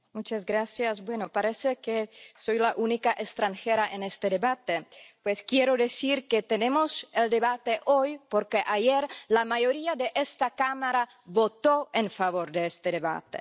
Señor presidente, parece que soy la única extranjera en este debate. Pues quiero decir que tenemos el debate hoy porque ayer la mayoría de esta Cámara votó en favor de este debate.